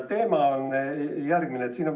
Teema on järgmine.